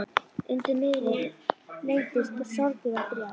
Undir niðri leyndust sorgir og þrár.